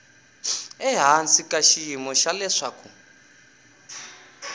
ehansi ka xiyimo xa leswaku